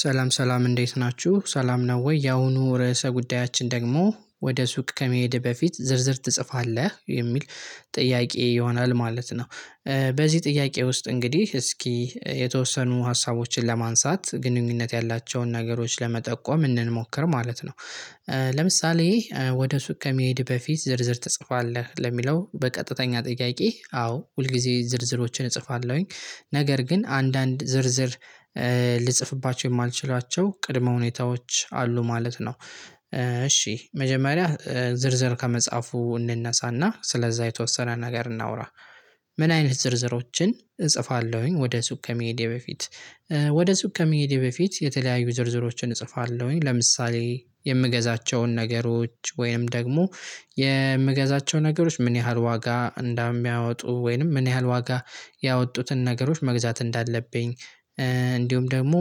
ሰላም ሰላም እንዴት ናችሁ ሰላም ነው ወይ? ያሁኑ ርዕሰ ጉዳያችን ደግሞ ወደ ሱቅ ከመሄድ በፊት ዝርዝር ትጽፋለህ የሚል ጥያቄ ይሆናል ማለት ነው። በዚህ ጥያቄ ውስጥ እንግዲህ እስኪ የተወሰኑ ሀሳቦችን ለማንሳት ግንኙነት ያላቸውን ነገሮች ለመጠቆም እንሞክር ማለት ነው። ለምሳሌ ወደ ሱቅ ከመሄድ በፊት ዝርዝር ትጽፋለህ ለሚለው በቀጥተኛ ጥያቄ አዎ ሁል ጊዜ ዝርዝሮችን እጽፋለሁኝ። ነገር ግን አንዳንድ ዝርዝር ልጽፍባቸው የማልችላቸው ቅድመ ሁኔታዎች አሉ ማለት ነው። እሺ መጀመሪያ ዝርዝር ከመጻፉ እንነሳና ስለዛ የተወሰነ ነገር እናውራ። ምን አይነት ዝርዝሮችን እጽፋለሁኝ? ወደ ሱቅ ከመሄዴ በፊት ወደ ሱቅ ከመሄዴ በፊት የተለያዩ ዝርዝሮችን እጽፋለሁኝ። ለምሳሌ የምገዛቸውን ነገሮች ወይንም ደግሞ የምገዛቸውን ነገሮች ምን ያህል ዋጋ እንዳሚያወጡ ወይንም ምን ያህል ዋጋ ያወጡትን ነገሮች መግዛት እንዳለብኝ። እንዲሁም ደግሞ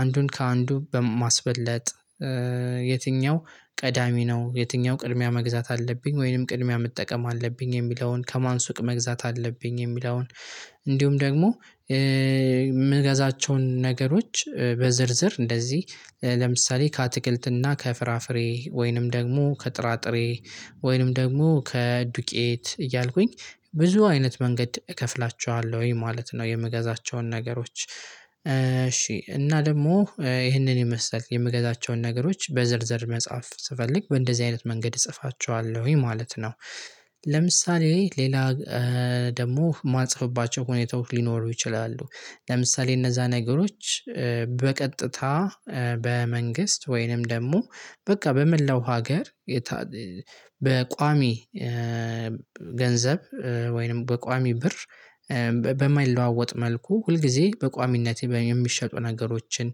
አንዱን ከአንዱ በማስበለጥ የትኛው ቀዳሚ ነው የትኛው ቅድሚያ መግዛት አለብኝ ወይንም ቅድሚያ መጠቀም አለብኝ የሚለውን ከማን ሱቅ መግዛት አለብኝ የሚለውን። እንዲሁም ደግሞ የምገዛቸውን ነገሮች በዝርዝር እንደዚህ ለምሳሌ ከአትክልትና ከፍራፍሬ ወይንም ደግሞ ከጥራጥሬ ወይንም ደግሞ ከዱቄት እያልኩኝ ብዙ አይነት መንገድ እከፍላችኋለሁ ማለት ነው። የምገዛቸውን ነገሮች እሺ እና ደግሞ ይህንን ይመስላል የምገዛቸውን ነገሮች በዝርዝር መጻፍ ስፈልግ በእንደዚህ አይነት መንገድ እጽፋቸዋለሁኝ ማለት ነው። ለምሳሌ ሌላ ደግሞ የማልጽፍባቸው ሁኔታወች ሊኖሩ ይችላሉ። ለምሳሌ እነዛ ነገሮች በቀጥታ በመንግስት ወይንም ደግሞ በቃ በመላው ሀገር በቋሚ ገንዘብ ወይንም በቋሚ ብር በማይለዋወጥ መልኩ ሁልጊዜ በቋሚነት የሚሸጡ ነገሮችን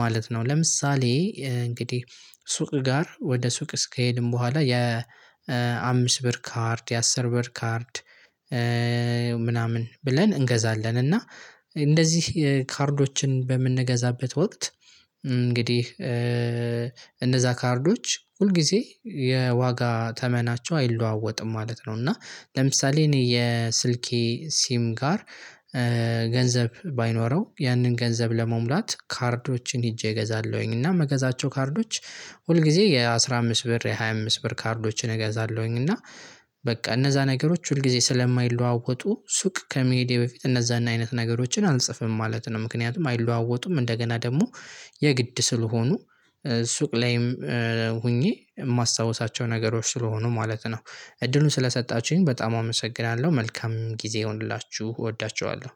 ማለት ነው። ለምሳሌ እንግዲህ ሱቅ ጋር ወደ ሱቅ እስኬድን በኋላ የአምስት ብር ካርድ የአስር ብር ካርድ ምናምን ብለን እንገዛለን። እና እንደዚህ ካርዶችን በምንገዛበት ወቅት እንግዲህ እነዛ ካርዶች ሁል ጊዜ የዋጋ ተመናቸው አይለዋወጥም ማለት ነው። እና ለምሳሌ እኔ የስልኬ ሲም ጋር ገንዘብ ባይኖረው ያንን ገንዘብ ለመሙላት ካርዶችን ሄጄ እገዛለሁኝ እና መገዛቸው ካርዶች። ሁል ጊዜ የአሥራ አምስት ብር የሃያ አምስት ብር ካርዶችን እገዛለሁኝ። እና በቃ እነዛ ነገሮች ሁል ጊዜ ስለማይለዋወጡ ሱቅ ከመሄዴ በፊት እነዛን አይነት ነገሮችን አልጽፍም ማለት ነው። ምክንያቱም አይለዋወጡም እንደገና ደግሞ የግድ ስለሆኑ ሱቅ ላይም ሆኜ የማስታውሳቸው ነገሮች ስለሆኑ ማለት ነው። እድሉን ስለሰጣችሁኝ በጣም አመሰግናለሁ መልካም ጊዜ ይሁንላችሁ እወዳችኋለሁ።